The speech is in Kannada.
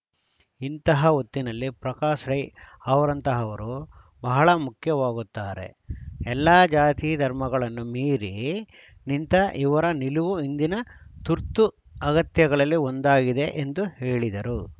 ಇಂತಹ ಹೊತ್ತಿನಲ್ಲಿ ಪ್ರಕಾಶ್‌ ರೈ ಅವರಂತಹವರು ಬಹಳ ಮುಖ್ಯವಾಗುತ್ತಾರೆ ಎಲ್ಲ ಜಾತಿ ಧರ್ಮಗಳನ್ನು ಮೀರಿ ನಿಂತ ಇವರ ನಿಲುವು ಇಂದಿನ ತುರ್ತು ಅಗತ್ಯಗಳಲ್ಲಿ ಒಂದಾಗಿದೆ ಎಂದು ಹೇಳಿದರು